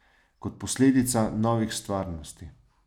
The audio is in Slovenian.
Kot posledica novih stvarnosti.